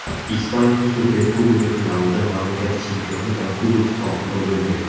Ispaniya Superkubogi finalida mamlakat chempioni va Kubok sohibi bo‘lmaydi.